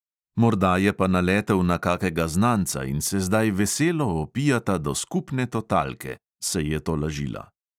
"Morda je pa naletel na kakega znanca in se zdaj veselo opijata do skupne totalke," se je tolažila.